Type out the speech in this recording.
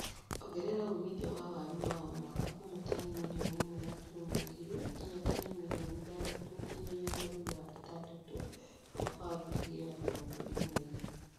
Ongerea umithio wa waru wa o mwaka kuuma tani mirioni ĩmwe gaturumo igĩrĩ nginya tani mirioni ithathatũ gũkinyĩria mwer wa ĩtandatũ mwaka wa ngiri igĩrĩ na mĩrongo ĩri na igĩrĩ